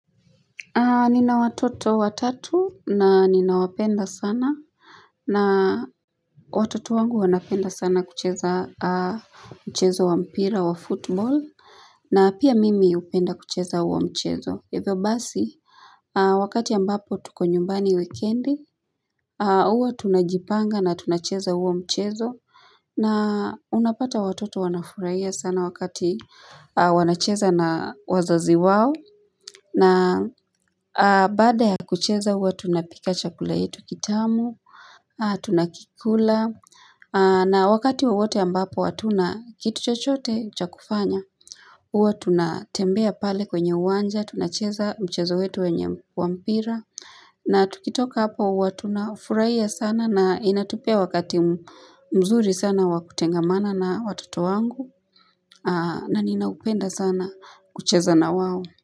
Nina watoto watatu na ninawapenda sana na watoto wangu wanapenda sana kucheza mchezo wa mpira wa football na pia mimi hupenda kucheza uwa mchezo. Yavyo basi, wakati ambapo tuko nyumbani wikindi, uwa tunajipanga na tunacheza uwa mchezo. Na unapata watoto wanafurahiya sana wakati wanacheza na wazazi wao. Na baada ya kucheza huwa tunapika chakula yetu kitamu, tunakikula. Na wakati wowote ambapo hatuna kitu chochote chakufanya. Uwa tunatembea pale kwenye uwanja, tunacheza mchezo wetu wenye wampira na tukitoka hapa uwa tunafuraiya sana na inatupia wakati mzuri sana wakutengamana na watoto wangu na ninaupenda sana kucheza na wawo.